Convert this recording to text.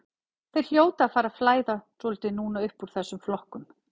Þeir hljóta að fara að flæða svolítið núna uppúr þessum flokkum.